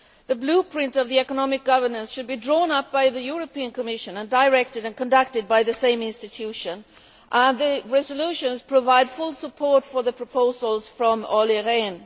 The blueprint for economic governance should be drawn up by the Commission and directed and conducted by the same institution, and the resolutions provide full support for the proposals from Olli Rehn.